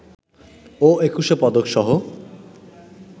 ও Ekushey পদকসহ